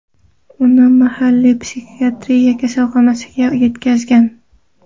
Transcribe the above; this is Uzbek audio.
Uni mahalliy psixiatriya kasalxonasiga yetkazishgan.